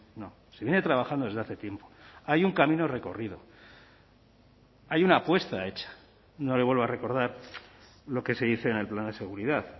no se viene trabajando desde hace tiempo hay un camino recorrido hay una apuesta hecha no le vuelvo a recordar lo que se dice en el plan de seguridad